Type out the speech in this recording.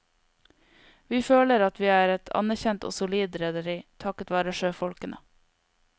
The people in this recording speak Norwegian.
Vi føler at vi er et anerkjent og solid rederi, takket være sjøfolkene.